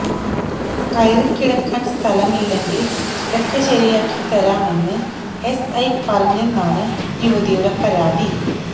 കയറി കിട്ടക്കാന് സ്ഥലമില്ലെങ്കില് കിടക്ക ശരിയാക്കി തരാം എന്ന് എസ്ഐ പറഞ്ഞെന്നാണ് യുവതിയുടെ പരാതി